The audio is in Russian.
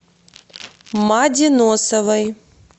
маде носовой